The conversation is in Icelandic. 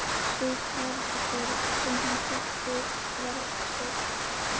Sú Parísarborg sem hann þekkti var ekki stór.